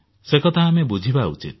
ସେ କଥା ଆମେ ବୁଝିବା ଉଚିତ